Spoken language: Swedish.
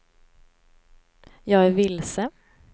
jag är vilse